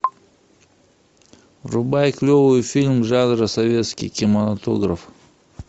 врубай клевый фильм жанра советский кинематограф